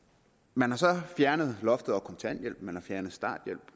man har så fjernet loftet over kontanthjælpen man har fjernet starthjælpen